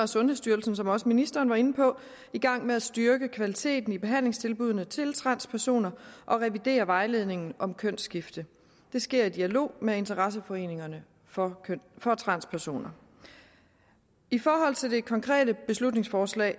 sundhedsstyrelsen som også ministeren var inde på i gang med at styrke kvaliteten i behandlingstilbuddene til transpersoner og revidere vejledningen om kønsskifte det sker i dialog med interesseforeningerne for transpersoner i forhold til det konkrete beslutningsforslag